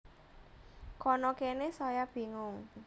Kana kene saya bingung